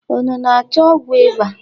Unu na-achọ ọgwụ ịba?